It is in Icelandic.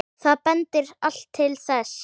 Það bendir allt til þess.